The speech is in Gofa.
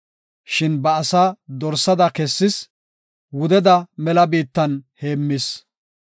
Shin ba asaa dorsada kessis; wudeda mela biittan heemmis.